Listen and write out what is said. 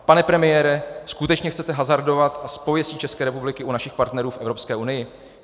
Pane premiére, skutečně chcete hazardovat s pověstí České republiku u našich partnerů v Evropské unii?